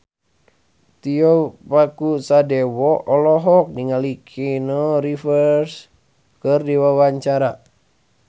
Tio Pakusadewo olohok ningali Keanu Reeves keur diwawancara